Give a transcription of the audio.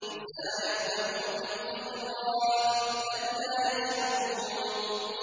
نُسَارِعُ لَهُمْ فِي الْخَيْرَاتِ ۚ بَل لَّا يَشْعُرُونَ